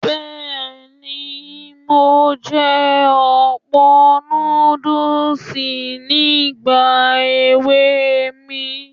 Bẹ́ẹ̀ni, mo jẹ ọ̀pọ̀ núdùs nígbà èwe mi.